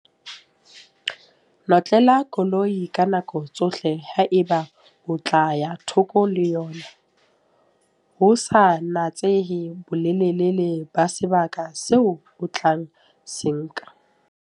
Notlela koloi ka nako tsohle haeba o tla ya thoko le yona ho sa natsehe bolelele ba sebaka seo o tla se nka.